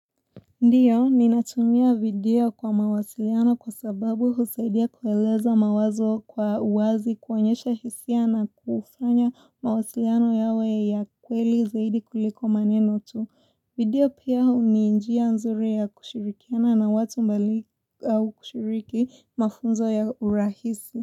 Ndiyo, ninatumia video kwa mawasiliano kwa sababu husaidia kueleza mawazo kwa uwazi kuonyesha hisia na kufanya mawasiliano yawe ya kweli zaidi kuliko maneno tu. Video pia hu ni njia nzuri ya kushirikiana na watu mbali au kushiriki mafunzo ya urahisi.